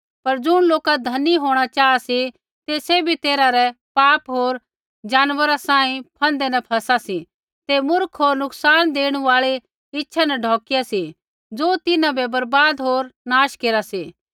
पर ज़ुणा लोका धनी होंणा चाहा सी ते सैभी तैरहा रै पाप होर जानवरा सांही फन्दै न फसा सी ते मूर्ख होर नुकसान देणु आल़ी इच्छा न ढौकिया सी ज़ो तिन्हां बै बर्वाद होर नाश केरा सी